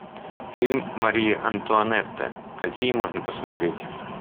фильм мария антуанетта какие можно посмотреть